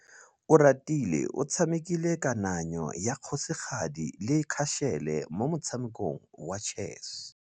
Oratile o tshamekile kananyô ya kgosigadi le khasêlê mo motshamekong wa chess.